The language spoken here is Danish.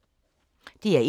DR1